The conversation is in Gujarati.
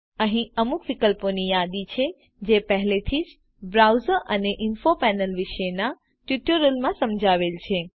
અહી અમુક વિકલ્પો ની યાદી છે જે પહેલેથી જ બ્રાઉઝર અને ઇન્ફો પેનલ વિષેના ટ્યુટોરીયલમાં સમજાવેલ છે